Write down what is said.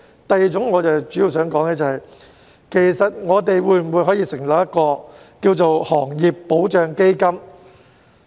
第二，我主要想說的是，我們可否成立行業保障基金呢？